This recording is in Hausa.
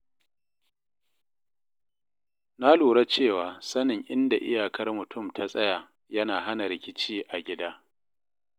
Na lura cewa sanin inda iyakar mutum ta tsaya yana hana rikici a gida.